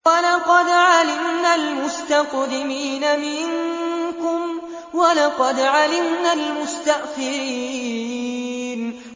وَلَقَدْ عَلِمْنَا الْمُسْتَقْدِمِينَ مِنكُمْ وَلَقَدْ عَلِمْنَا الْمُسْتَأْخِرِينَ